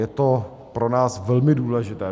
Je to pro nás velmi důležité.